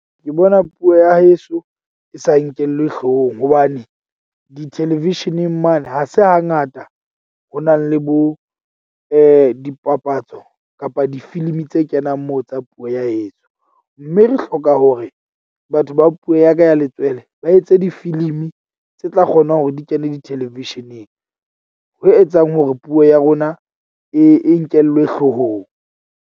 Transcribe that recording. Ke bona puo ya heso e sa nkellwe hloohong hobane di-television-eng mane ha se hangata, ho nang le bo dipapatso kapa difilimi tse kenang moo tsa puo ya heso. Mme re hloka hore batho ba puo ya ka ya letswele ba etse difilimi tse tla kgonang hore di kene di-television-eng. Ho etsang hore puo ya rona e e nkellwe hloohong.